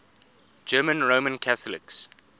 german roman catholics